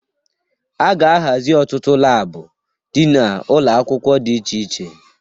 A ga-ahazị ọtụtụ labụ dị na ụlọakwụkwọ di iche iche.